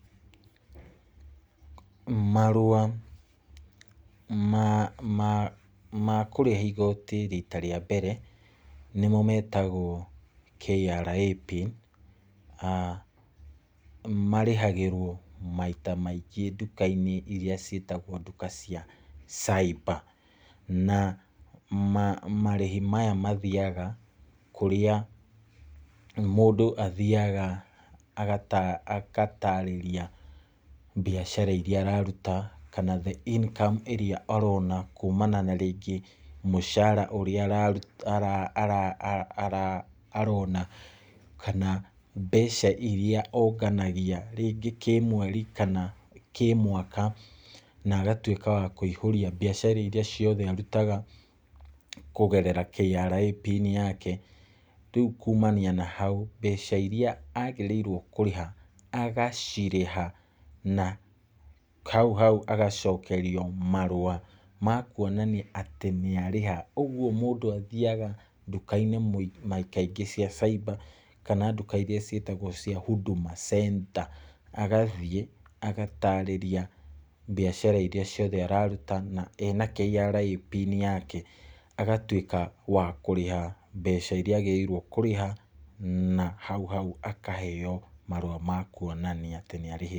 Marũa makũrĩha igoti rita rĩa mbere, nĩmo metagwo KRA PIN, marĩhagĩrwo maita maingĩ nduka-inĩ iria ciĩtagwo nduka cia cyber. Na marĩhi maya mathiaga kũrĩa mũndũ athiaga agatarĩria biacara iria araruta, kana the income ĩrĩa arona kuumana na rĩngĩ mũcara ũrĩa arona, kana mbeca iria onganagia rĩngĩ kĩmweri, kana kĩmwaka, na agatuĩka wa kũihũria biacara iria ciothe arutaga, kũgerera KRA PIN yake, rĩu kuumania nahau, mbeca iria agĩrĩirwo kũrĩha, agacirĩha na hau hau agacokerio marũa makuonania nĩarĩha. Ũguo mũndũ athiaga nduka-inĩ na kaingĩ cia cyber, kana nduka-inĩ iria ciĩtagwo cia Huduma Center agathiĩ, agatarĩria mbiacara iria ciothe araruta na ena KRA PIN yake, agatuĩka wakũrĩha mbeca iria agĩrĩirwo nĩ kũrĩha, na hau hau akaheyo marũa makuonania nĩarĩhĩte.